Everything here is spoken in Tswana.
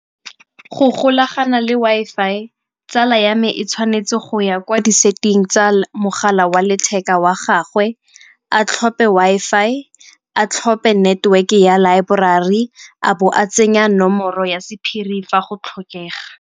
Go golagana le Wi-Fi tsala ya me e tshwanetse go ya kwa di-setting tsa mogala wa letheka wa gagwe, a tlhophe Wi-Fi, a tlhophe network ya laeborari, a bo a tsenya nomoro ya sephiri fa go tlhokega.